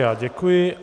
Já děkuji.